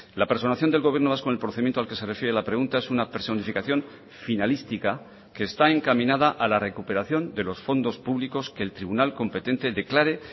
la personación del gobierno vasco en el procedimiento al que se refiere la pregunta es una personificación finalística que está encaminada a la recuperación de los fondos públicos que el tribunal competente declare